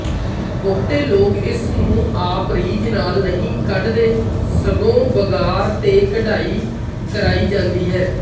ਬਹੁਤੇ ਲੋਕ ਇਸਨੂੰ ਆਪ ਰੀਝ ਨਾਲ ਨਹੀਂ ਕਢਦੇ ਸਗੌ ਬਗਾਰ ਤੇ ਕਢਾਈ ਕਰਾਈ ਜ਼ਾਦੀ ਹੈ